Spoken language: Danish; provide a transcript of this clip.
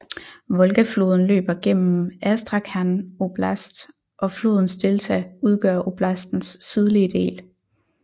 Volgafloden løber igennem Astrakhan oblast og flodens delta udgør oblastens sydlige del